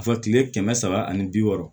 Fɔ kile kɛmɛ saba ani bi wɔɔrɔ